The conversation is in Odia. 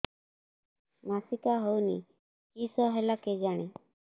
ମାସିକା ହଉନି କିଶ ହେଲା କେଜାଣି